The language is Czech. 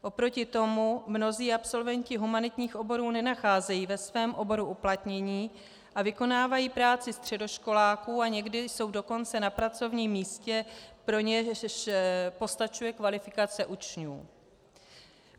Oproti tomu mnozí absolventi humanitních oborů nenacházejí ve svém oboru uplatnění a vykonávají práci středoškoláků, a někdy jsou dokonce na pracovním místě, pro něž postačuje kvalifikace učňů.